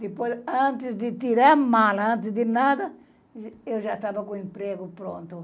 Depois, antes de tirar a mala, antes de nada, eu já estava com o emprego pronto.